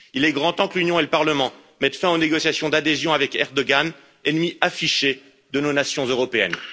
Il est grand temps que l'Union et le Parlement mettent fin aux négociations d'adhésion avec Erdogan, ennemi affiché de nos nations européennes.